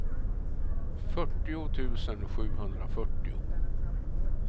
fyrtio tusen sjuhundrafyrtio